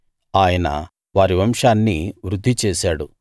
ఆయన వారి వంశాన్ని వృద్ధి చేశాడు